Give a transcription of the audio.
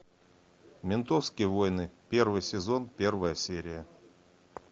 ментовские войны первый сезон первая серия